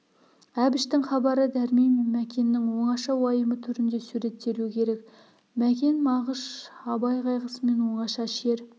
әбіштің хабары дәрмен мен мәкеннің оңаша уайымы түрінде суреттелу керек мәкен мағыш абай қайғысымен оңаша шер